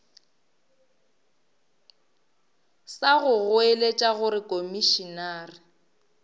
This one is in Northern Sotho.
sa go goeletša gore komišenare